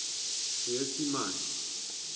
seesimane